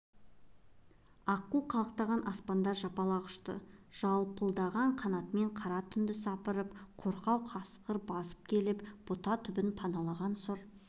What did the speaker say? аққу қалықтаған аспанда жапалақ ұшты жалпылдаған қанатымен қара түнді сапырып қорқау қасқыр басып келіп бұта түбін паналаған сұр